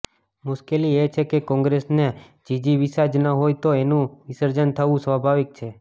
મુશ્કેલી એ છે કે કોંગ્રેસને જીજીવિષા જ ના હોય તો એનું વિસર્જન થવું સ્વાભાવિક છે